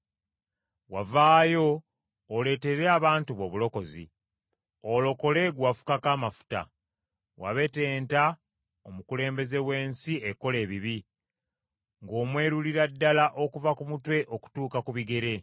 Wavaayo oleetere abantu bo obulokozi, olokole gwe wafukako amafuta; Wabetenta omukulembeze w’ensi ekola ebibi, ng’omwerulira ddala okuva ku mutwe okutuuka ku bigere.